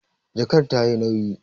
Jakar ta yi nauyi